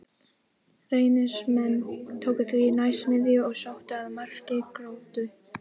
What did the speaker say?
Reynismenn tóku því næst miðju og sóttu að marki Gróttu.